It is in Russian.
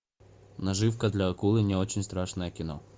наживка для акулы не очень страшное кино